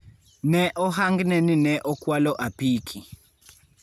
Ne ohangne ni ne okwalo apiki.